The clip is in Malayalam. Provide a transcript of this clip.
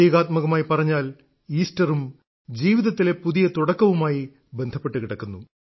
പ്രതീകാത്മകമായി പറഞ്ഞാൽ ഈസ്റ്ററും ജീവിതത്തിലെ പുതിയ തുടക്കവുമായി ബന്ധപ്പെട്ടു കിടക്കുന്നു